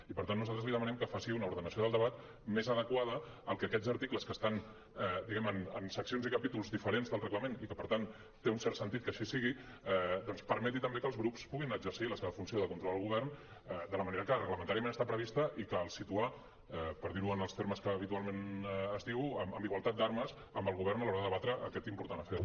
i per tant nosaltres li demanem que faci una ordenació del debat més adequada al que aquests articles que estan diguem ne en seccions i capítols diferents del reglament i que per tant té un cert sentit que així sigui doncs permeti també que els grups puguin exercir la seva funció de control al govern de la manera que reglamentàriament està prevista i que els situa per dir ho en els termes que habitualment es diu en igualtat d’armes amb el govern a l’hora de debatre aquest important afer